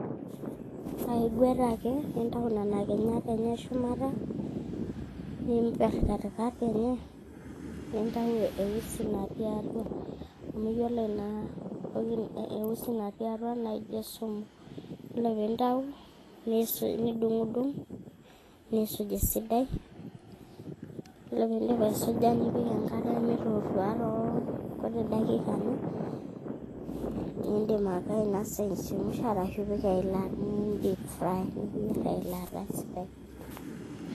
aigwet ake nintau nena kinyat enye eshumata niimperr katikati enye nintau eusi natii atua amu yiolo ina usi natii atua naijo esumu yiolo piintau nidungu'dung' niisuj esidai yiolo piindip aisuja nipik enkare mitotua tolkuti dakikani niindim ake ainosa eichemsha arashu indipfry niyierr teilata esidai.